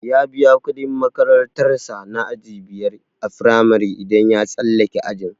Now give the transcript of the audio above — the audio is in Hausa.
Ya biya kudin makarantar sa na aji biyar a firamare idan ya tsallake ajin.